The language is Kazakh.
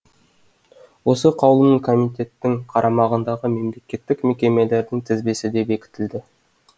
осы қаулымен комитеттің қарамағындағы мемлекеттік мекемелердің тізбесі де бекітілді